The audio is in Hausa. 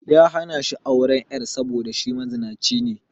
Ya hana shi auren 'yar sa saboda shi mazinaci ne